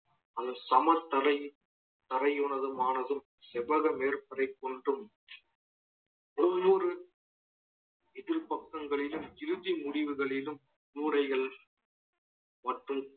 அது சம தலை~ தலைவனதும் ஆனதும் செவ்வகம் ஏற்பதைப் போன்றும் ஒவ்வொரு எதிர்பக்கங்களிலும் இறுதி முடிவுகளிலும் முறைகள் மற்றும்